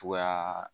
Cogoya